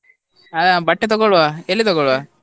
ಹಾ ಬಟ್ಟೆ ತಗೋಳ್ಳುವ ಎಲ್ಲಿ ತಗೊಳ್ಳುವ?